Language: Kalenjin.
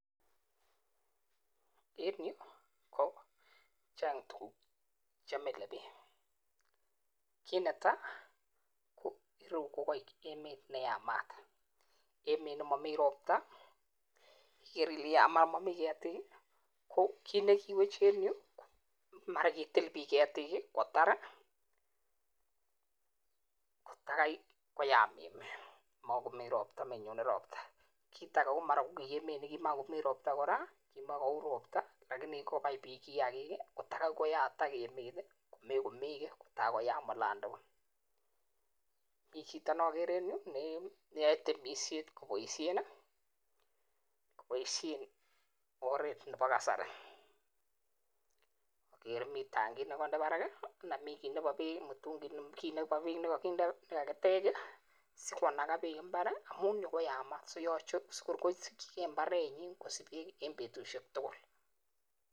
En yu kochang tukuk chemilebich kit netai yu ko emet neyamat emet nemami robta kit newechei en yu ko mara kokitil bik ketik kotar kotai koyam emet kit age komuch ko emet nemami robta akobai bik kiakik kotai koyam olandukul mi chito nakere en yu kwae temisiet eng oret nebo karasi ako kendi tangit sikonde bek mbar siko sich bek eng betushek tugul